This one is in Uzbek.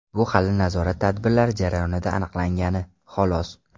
Bu hali nazorat tadbirlari jarayonida aniqlangani, xolos.